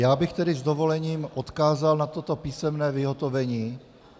Já bych tedy s dovolením odkázal na toto písemné vyhotovení.